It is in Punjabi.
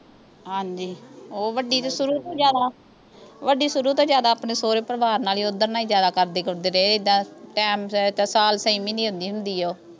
ਹਾਂਜੀ ਓਹ ਵੱਡੀ ਸ਼ੁਰੂ ਤੋਂ ਜਿਆਦਾ ਵੱਡੀ ਸ਼ੁਰੂ ਤੋਂ ਜਿਆਦਾ ਆਪਣੇ ਸੌਹਰੇ ਪਰਿਵਾਰ ਨਾਲ ਹੀ ਓਧਰ ਨਾਲ ਹੀ ਜਿਆਦਾ ਕਰਦੇ ਕੁਰਦੇ ਰਹੇ ਆ ਐਦਾਂ ਟਾਈਮ ਸਿਰ ਜਾਣ ਸਾਲ ਛੇ ਮਹਿਨੀ ਆਉਂਦੀ ਹੁੰਦੀ ਆ ਓਹ